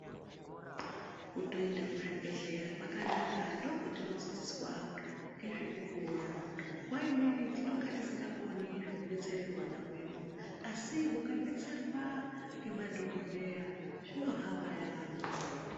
Kutoenda kuzvibhedhleya kwakanaka ndokwetinodzidziswa ngezve kukura, nguwa imweni tinenge tisingakoni kudetsere hwana hwedu asi hukadetserwa ngema dhokodheya zvino hamba yamho.